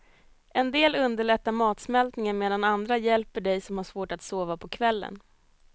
En del underlättar matsmältningen medan andra hjälper dig som har svårt att sova på kvällen.